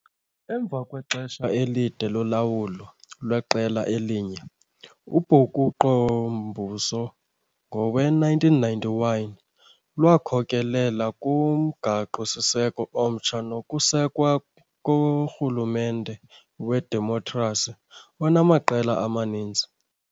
Emva kwexesha elide lolawulo lweqela elinye, ubhukuqo-mbuso ngowe-1991 lwakhokelela kumgaqo-siseko omtsha nokusekwa korhulumente wedemokhrasi, onamaqela amaninzi.